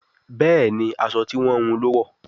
Béèni aṣọ tí wón wun ló wọ.